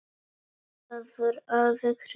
Það var alveg rétt.